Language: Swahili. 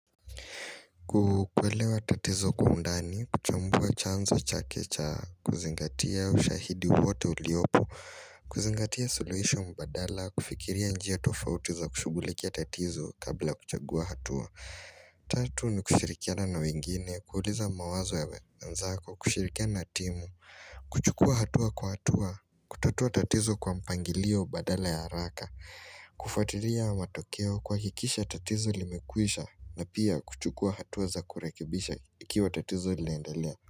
Kuelewa tatizo kwa undani, kuchambua chanzo chake cha, kuzingatia ushahidi wowote uliopo, kuzingatia solution badala, kufikiria njia tofauti za kushughulikia tatizo kabla kuchagua hatua. Tatu ni kushirikiana wengine, kuuliza mawazo ya wenzako, kushirikia na timu kuchukua hatua kwa hatua, kutatua tatizo kwa mpangilio badala ya haraka kufuatilia matokeo kuhakikisha tatizo limekwisha na pia kuchukua hatua za kurekebisha ikiwa tatizo linaendelea.